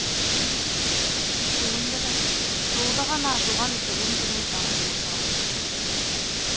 соның бірі жуырда ғана ашылған білім және даму орталығы